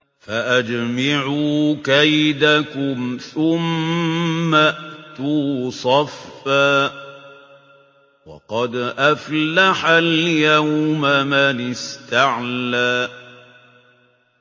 فَأَجْمِعُوا كَيْدَكُمْ ثُمَّ ائْتُوا صَفًّا ۚ وَقَدْ أَفْلَحَ الْيَوْمَ مَنِ اسْتَعْلَىٰ